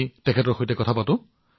তেওঁৰ সৈতে কথা পাতো আহক